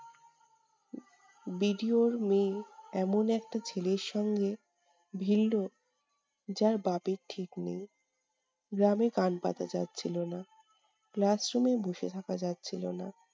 BDO এর মেয়ে এমন একটা ছেলের সঙ্গে ভিড়লো যার বাপের ঠিক নেই। গ্রামে কান পাতা যাচ্ছিলো না। class room এ বসে থাকা যাচ্ছিলো না।